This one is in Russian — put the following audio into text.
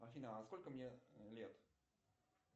афина а сколько мне лет